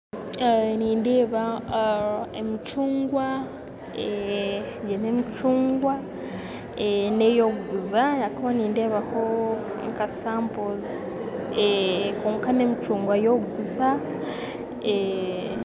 Nindeeba emicungwa, egi n'emicungwa n'ey'okuguza ahabw'okuba nindeebaho nka sapozi, kwonka n'emicungwa ey'okuguza